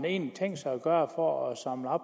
egentlig tænkt sig at gøre for at samle